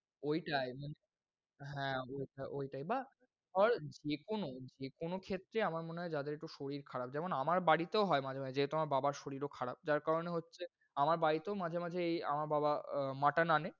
ওইটায়, হ্যাঁ ওইটা~ওইটায় বা ধর যেকোন ক্ষেত্রে আমার মনে হয় যাদের একটু শরীর খারাপ, যেমন আমার বাড়িতেও হয় মাঝে মাঝে, যেহেতু আমার বাবার শরীর ও খারাপ যার কারণে হচ্ছে, আমার বাড়িতেও মাঝে মাঝে এই আমার বাবা আহ mutton আনে।